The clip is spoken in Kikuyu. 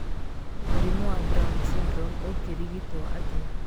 Mũrimũ wa Brown syndrome ũngĩrigituo atĩa?